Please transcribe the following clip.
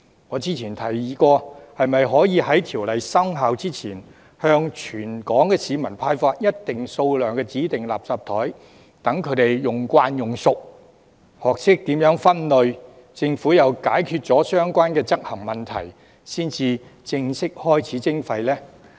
我之前曾提議：可否在條例生效前，向全港市民派發一定數量的指定垃圾袋，讓他們習慣使用，學懂如何分類，並且，待政府解決了相關執行問題，才正式開始徵費呢？